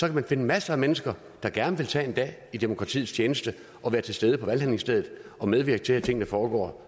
kan man finde masser af mennesker der gerne vil tage en dag i demokratiets tjeneste og være til stede på valgstedet og medvirke til at tingene foregår